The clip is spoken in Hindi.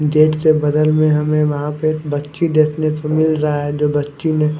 गेट के बगल में हमें वहाँ पे बच्ची देखने को मिल रहा है जो बच्ची ने--